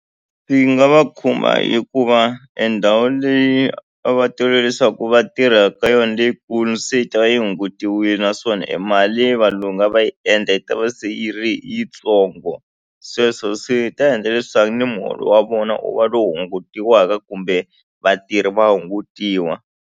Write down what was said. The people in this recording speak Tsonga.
Swi nga va khumba hikuva endhawu leyi a va tolovele leswaku va tirha ka yona leyikulu se yi ta va yi hungutiwile naswona emali valungu a va yi endla yi ta va se yi ri yitsongo sweswo swi ta endla leswaku ni muholo wa vona u va lo hungutiwaka kumbe vatirhi va hungutiwa.